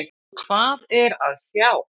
Hvað er að sjá!